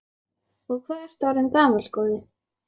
Og hvað ertu orðinn gamall, góði?